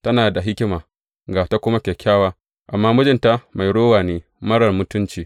Tana da hikima ga ta kuma kyakkyawa, amma mijinta mai rowa ne marar mutunci.